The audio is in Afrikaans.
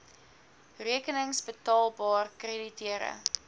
rekenings betaalbaar krediteure